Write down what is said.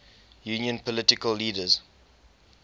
union political leaders